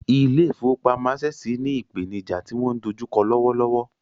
Ilé ìfowópamọ́ Access ní ìpènijà tí wọ́n dojú kọ lọ́wọ́ lọ́wọ́.